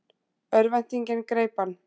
Örvæntingin greip hann.